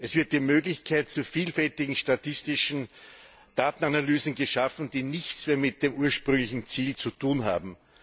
Es wird die Möglichkeit zu vielfältigen statistischen Datenanalysen geschaffen, die nichts mehr mit dem ursprünglichen Ziel zu tun haben.